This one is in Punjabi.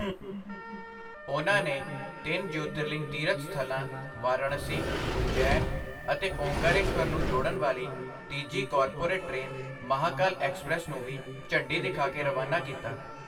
ਉਨ੍ਹਾਂ ਨੇ ਤਿੰਨ ਜਯੋਤਿਰਲਿੰਗ ਤੀਰਥ ਸਥਲਾਂ ਵਾਰਾਣਸੀ, ਉਜੈਨ ਅਤੇ ਓਅੰਕਾਰੇਸ਼ਵਰ ਨੂੰ ਜੋੜਨ ਵਾਲੀ ਤੀਜੀ ਕਾਰਪੋਰੇਟ ਟ੍ਰੇਨ ਮਹਾਕਾਲ ਐਕਸਪ੍ਰੈੱਸ ਨੂੰ ਵੀ ਝੰਡੀ ਦਿਖਾ ਕੇ ਰਵਾਨਾ ਕੀਤਾ।